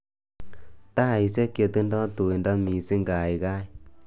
Taishek chetindoi tuindo mising' kaikai